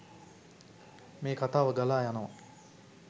මේ කථාව ගලා යනවා